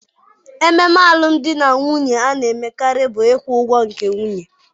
Ememe alụmdi na nwunye a na-emekarị bụ ịkwụ ụgwọ nke nwunye.